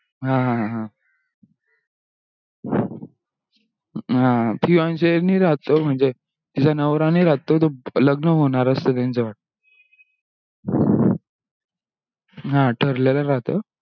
हा हा phionse नाही राहत तो म्हणजे तिचा नवरा नाही राहत तो लग्न होणार असतो त्यांचा वाटतो हा ठरलेला राहतो